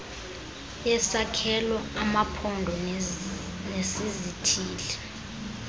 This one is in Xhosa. yesakhelo amaphondo nesizithili